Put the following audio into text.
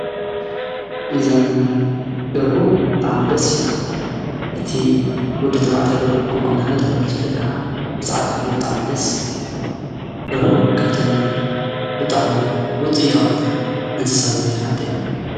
ምዘም ደርሁ ብጥዕ ምደስ ሂብላዕ እቲ ውዲ ተማዕታይ ደርሁ ክኩንና ይተብሂሉ ዝብለጥ ቃዓ ምስ ዓድ ዓብሪ ብጥዕ ምደስ ብል ርሆ ካብተን ብጥዕ ሚ ውፂ ታውትን እንስሳ ዘቤት ሓንቲያ።